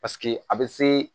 Paseke a bɛ se